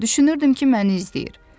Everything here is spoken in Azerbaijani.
Düşünürdüm ki, məni izləyir.